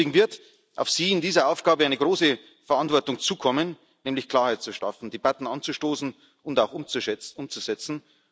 Deswegen wird auf Sie in dieser Aufgabe eine große Verantwortung zukommen, nämlich Klarheit zu schaffen, Debatten anzustoßen und auch umzusetzen.